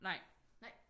Nej